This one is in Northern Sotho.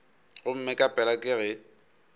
gomme ka pela ke ge